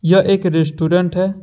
यह एक रेस्टुरेंट है।